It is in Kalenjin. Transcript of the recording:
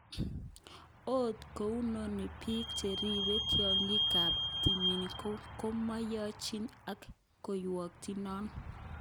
Ot kounoni peek cheribe tiokyik kap timin komoiyochin ak kokwoutyet non.